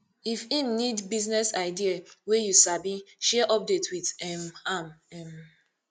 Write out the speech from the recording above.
if em nid business idea wey yu sabi share update wit um am um